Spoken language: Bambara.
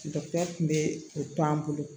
Dɔkitɛri kun be o to an bolo